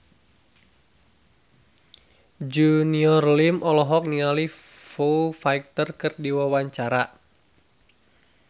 Junior Liem olohok ningali Foo Fighter keur diwawancara